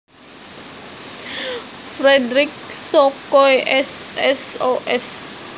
Fredrik Sokoy S Sos